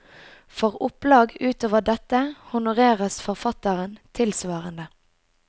For opplag utover dette honoreres forfatteren tilsvarende.